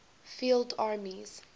field armies